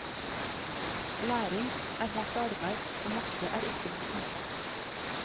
Læring er hardt arbeid og matte er ikke noe unntak.